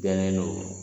Jɛlen don